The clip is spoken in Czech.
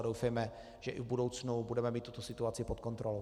A doufejme, že i v budoucnu budeme mít tuto situaci pod kontrolou.